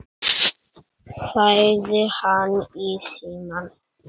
sagði hann í símann.